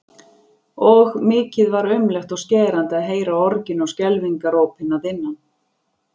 Og mikið var aumlegt og skerandi að heyra orgin og skelfingarópin að innan.